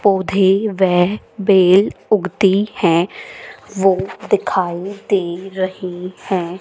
पौधे वे बेल उगती हैं वो दिखाई दे रही हैं।